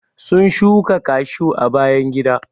sun shuka cashew a bayan gida.